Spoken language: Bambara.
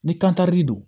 Ni kan karili don